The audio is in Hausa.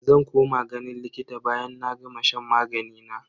Zan koma ganin likita bayan na gama shan magani na.